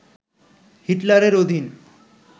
হিটলারের অধীন